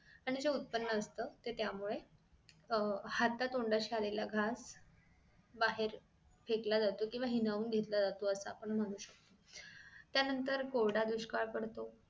आणि जे उत्पन्न असत ते त्यामुळे अह हता तोंडाशी आलेला घास बाहेर फेकला जातो केंव्हा हिरावून घेतला जातो असं आपण म्हणू शकतो त्यानंतर कोरडा दुष्काळ पडतो